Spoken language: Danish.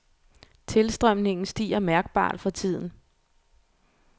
Tilstrømningen stiger mærkbart for tiden.